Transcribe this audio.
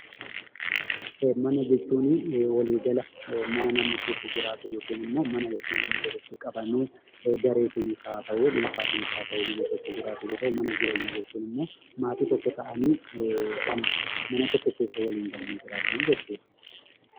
Mana jechuun waliigala mana namni keessa jiraatu yookiin ammoo mana jechuun mana itti namni walitti qabamee gareetinis haata'u dhuunfaadhaan keessa jiraatu yoo ta'u, mana jireenyaa jechuun ammoo maatii tokko ta'anii mana tokko keessa waliin galanii jiraatanii jechuudha.